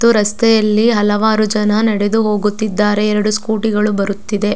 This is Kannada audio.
ರಸ್ತೆಯಲ್ಲಿ ಹಲವಾರು ಜನ ನಡೆದು ಹೋಗುದಿದ್ದಾರೆ ಎರಡು ಸ್ಕೂಟಿ ಗಳು ಬರುತಿದೆ.